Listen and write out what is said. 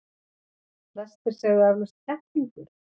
Flestir segðu eflaust kettlingur.